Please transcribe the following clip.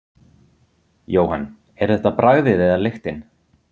Jóhann: Er þetta bragðið eða lyktin?